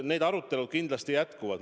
Need arutelud kindlasti jätkuvad.